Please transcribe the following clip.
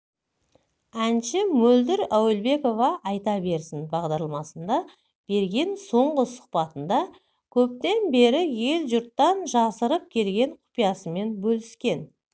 әнші мөлдір әуелбекова айта берсін бағдарламасына берген соңғы сұқбатында көптен бері ел-жұрттан жасырып келген құпиясымен бөліскен